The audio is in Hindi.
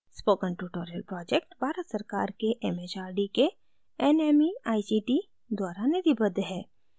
spoken tutorial project भारत सरकार के mhrd के nmeict द्वारा निधिबद्ध है